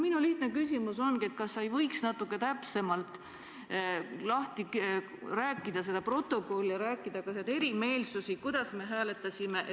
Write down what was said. Minu lihtne küsimus ongi selline, et kas sa võiksid selle protokolli natuke täpsemalt lahti rääkida ja kajastada neid erimeelsusi, kuidas me hääletasime, et ...